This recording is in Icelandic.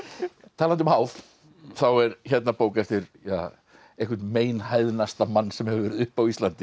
talandi um háð þá er hérna bók eftir einhvern mann sem hefur verið uppi á Íslandi